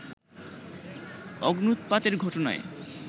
অগ্ন্যুৎপাতের ঘটনায়